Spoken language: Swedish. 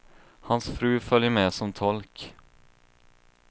Hans fru följer med som tolk.